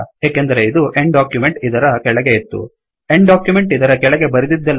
ಏಕೆಂದರೆ ಇದು end document end document ಇದರ ಕೆಳಗೆ ಇತ್ತು